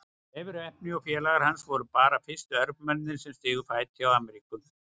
Leifur heppni og félagar hans voru bara fyrstu Evrópumennirnir sem stigu fæti á Ameríku.